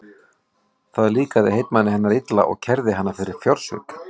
Það líkaði heitmanni hennar illa og kærði hana fyrir fjársvik.